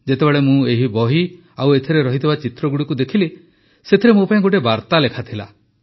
ଯେତେବେଳେ ମୁଁ ଏହି ବହି ଓ ଏଥିରେ ଥିବା ଚିତ୍ରଗୁଡ଼ିକୁ ଦେଖିଲି ସେଥିରେ ମୋ ପାଇଁ ଗୋଟିଏ ବାର୍ତ୍ତା ଲେଖାଥିଲା